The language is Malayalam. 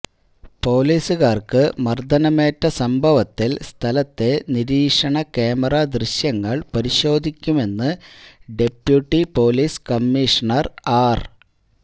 പോലീസുകാർക്ക് മർദനമേറ്റ സംഭവത്തിൽ സ്ഥലത്തെ നിരീക്ഷണ ക്യാമറാ ദൃശ്യങ്ങൾ പരിശോധിക്കുമെന്ന് ഡെപ്യൂട്ടി പോലീസ് കമ്മിഷണർ ആർ